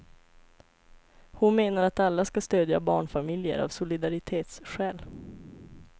Hon menar att alla ska stödja barnfamiljer av solidaritetsskäl.